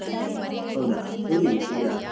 ಹೌದಾ ಎಲ್ಲಿಗೆ?